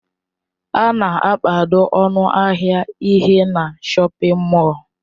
A na-akpado ọnụ ahịa ihe na shọpin mọll.